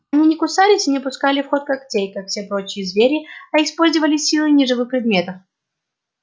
они не кусались и не пускали в ход когтей как все прочие звери а использовали силы неживых предметов